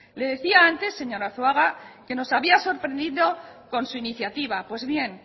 le decía antes señor arzuaga que nos había sorprendido con su iniciativa pues bien